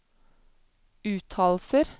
uttalelser